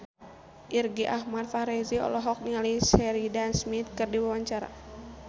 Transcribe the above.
Irgi Ahmad Fahrezi olohok ningali Sheridan Smith keur diwawancara